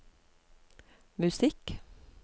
musikk